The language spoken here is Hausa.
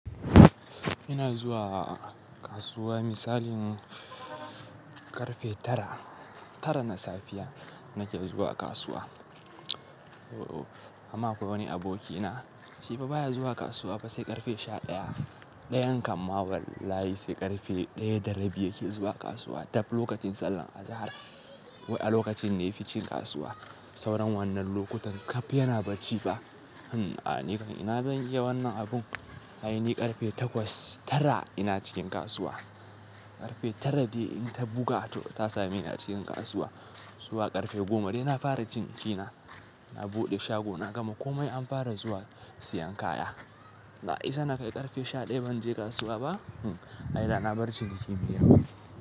Ina zuwa kasuwa misalin ƙarfe tara, tara na safiya nake zuwa kasuwa. Amma akwai wani abokina shi ba baya zuwa kasuwa ba sai ƙarfe sha ɗaya. Ɗayan kam ma wallahi sai ƙarfe ɗaya da rabi yake zuwa kasuwa dab lokacin sallar azahar. Wai a lokacin ne yafi cin kasuwa sauran wannan lokutan kaf yana barci ba. Hm! A nikam ina zan iya wannan abun? Ai ni ƙarfe takwas, tara ina cikin kasuwa. Ƙarfe tara dai in ta buga to ta sami ni a cikin kasuwa. Zuwa ƙarfe goma dai na fara cin abinci na. Na buɗe shago na gama komai an fara zuwa siyan kaya. Na isa nakai ƙarfe sha ɗaya ban je kasuwa ba? Ai da na bar ciniki mai yawa.